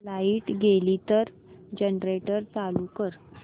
light गेली तर generator चालू कर